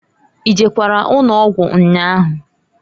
I jekwara ụnọgwụ nnyaahụ?